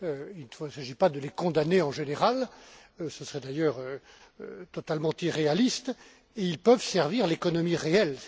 Il ne s'agit pas de les condamner en général, ce serait d'ailleurs totalement irréaliste ils peuvent servir l'économie réelle.